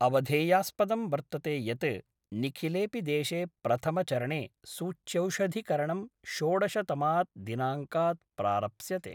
अवधेयास्पदं वर्तते यत् निखिलेपि देशे प्रथमचरणे सूच्यौषधिकरणम् षोडशतमात् दिनांकात् प्रारप्स्यते।